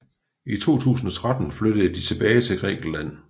I 2013 flyttede de tilbage til Grækenland